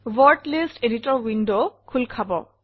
word list editor window খোল খাব